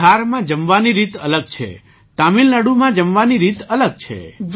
બિહારમાં જમવાની રીત અલગ છે તમિલનાડુમાં જમવાની રીત અલગ છે